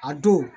A don